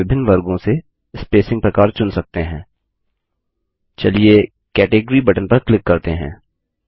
फिर से हम विभिन्न वर्गों से स्पसिंग प्रकार चुन सकते हैं चलिए कैटेगरी बटन पर क्लिक करते हैं